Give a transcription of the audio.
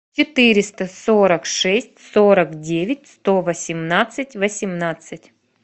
четыреста сорок шесть сорок девять сто восемнадцать восемнадцать